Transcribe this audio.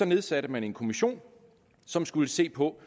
nedsatte man en kommission som skulle se på